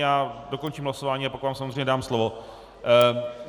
Já dokončím hlasování a pak vám samozřejmě dám slovo.